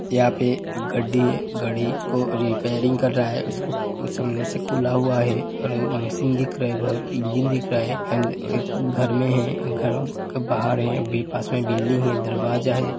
यहां पे गड्डी गड़ी को रिपेरिंग कर रहा है उस को सामने से खुला हुवा है और मशीन दिख रहा है बोहोत और अ इंजिन क दिख रा है एण्ड एक घर में एक अ बहार है। इसके पास अ बिल्डिंग है दरवाजा है।